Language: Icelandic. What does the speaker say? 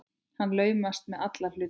Hann laumast með alla hluti.